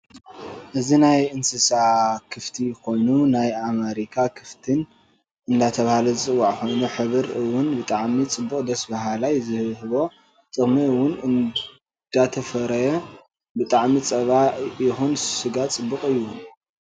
እዚ ናይ እንስሳ ክፍቲ ኮይኑ ናይ ኣመሪካ ክፍት እዳተበሃለ ዝፅዋዕ ኮይኑ ሕብር እውን ብጣዓሚ ፅቡቅ ደስ በሃላ ዝህቡዎ ጥቅሚ እውን እዳተፈረየ ብጠዓሚ ንፃባ ይኩን ንስጋ ፅቡቅ እዩ።